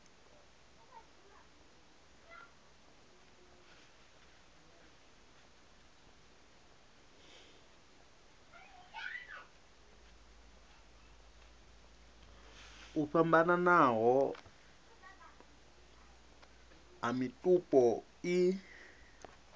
o fhambananaho a mitupo i